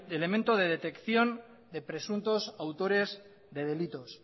elemento de detección de presuntos autores de delitos